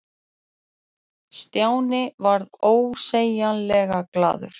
Stjáni varð ósegjanlega glaður.